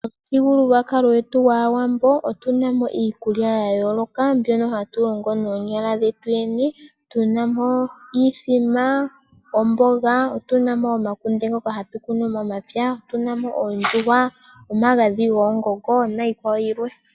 Omuthigululwakalo gwetu gwaawambo otuna mo iikulya yayoloka mbyono hatu longo noonyala dhetu yene. Tuna mo oshimbombo, omboga, otuna mo omakunde ngoka hatu kunu momapya, otuna mo ondjuhwa, omagadhi goongongo niikwawo yilwe.